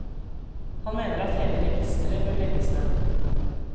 Han mener at hele registeret bør legges ned.